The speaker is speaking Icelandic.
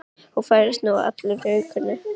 Og færðist nú allur í aukana.